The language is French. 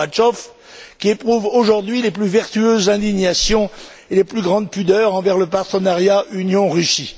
Gorbatchev qui éprouvent aujourd'hui les plus vertueuses indignations et les plus grandes pudeurs envers le partenariat Union Russie.